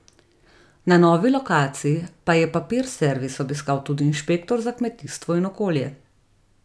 Na novi lokaciji pa je Papir Servis obiskal tudi inšpektor za kmetijstvo in okolje.